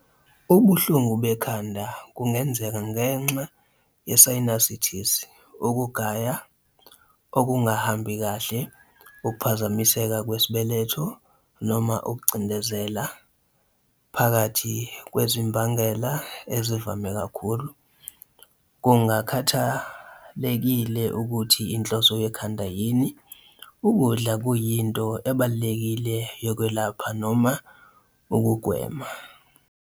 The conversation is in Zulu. Ubuhlungu bekhanda bungenzeka ngenxa ye-sinusitis, ukugaya okungahambi kahle, ukuphazamiseka kwesibeletho, noma ukucindezela, phakathi kwezimbangela ezivame kakhulu. Kungakhathalekile ukuthi inhloso yekhanda yini, ukudla kuyinto ebalulekile yokwelapha noma ukugwema.